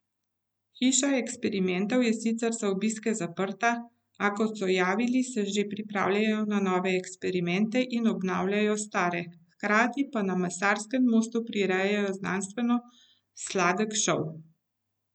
Hiša eksperimentov je sicer za obiske zaprta, a kot so javili, se že pripravljajo na nove eksperimente in obnavljajo stare, hkrati pa na Mesarskem mostu prirejajo znanstveno sladek šov.